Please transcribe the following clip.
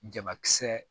Jamakisɛ